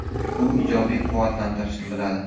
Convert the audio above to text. U ijobiy quvvatlantirishni biladi!